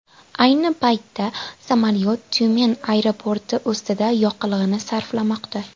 Ayni paytda samolyot Tyumen aeroporti ustida yoqilg‘ini sarflamoqda.